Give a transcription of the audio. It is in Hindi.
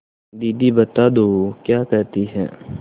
दीदी बता दो क्या कहती हैं